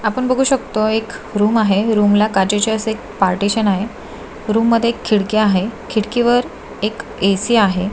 आपण बगु शकतो एक रुम आहे रुम ला काचेचे असे पार्टेशन आहे रुम मध्ये एक खिडकी आहे खिडकी वर एक एसी आहे.